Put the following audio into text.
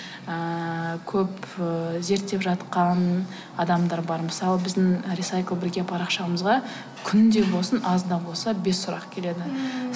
ыыы көп ыыы зерттеп жатқан адамдар бар мысалы біздің рисайклбірге парақшамызға күнде болсын аз да болса бес сұрақ келеді ммм